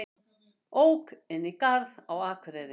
Ók inn í garð á Akureyri